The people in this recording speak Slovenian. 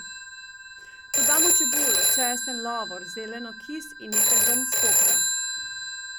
Dodamo čebulo, česen, lovor, zeleno, kis in nekaj zrnc popra.